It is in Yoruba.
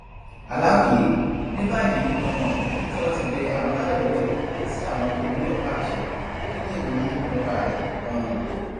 aláròye ní báyìí um tí wọn ti bẹ àwọn alálẹ lọwẹ sí àwọn tó gbé ọpáàṣẹ kí lèrò yín nípa rẹ um